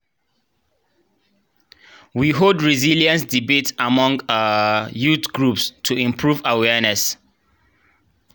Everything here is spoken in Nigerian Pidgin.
we hold resilience debates among um youth groups to improve awareness